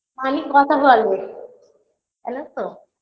money কথা বলে জানো তো